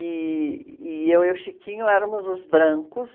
E, e eu e o Chiquinho éramos os brancos,